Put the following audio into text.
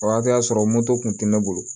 O hakɛ y'a sɔrɔ moto kun tɛ ne bolo